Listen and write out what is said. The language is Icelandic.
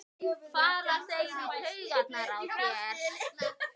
fara þeir í taugarnar á þér?